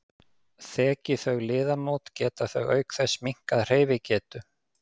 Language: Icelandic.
Þeki þau liðamót geta þau auk þess minnkað hreyfigetu.